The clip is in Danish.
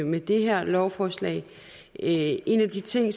med det her lovforslag en af de ting